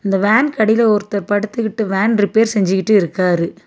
இந்த வேன்க்கடியில ஒருத்தர் படுத்துகிட்டு வேன் ரிப்பேர் செஞ்சிகிட்டு இருக்காரு.